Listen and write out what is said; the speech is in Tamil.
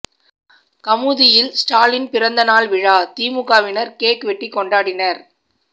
கமுதியில் ஸ்டாலின் பிறந்த நாள் விழா திமுகவினர் கேக் வெட்டி கொண்டாடினர்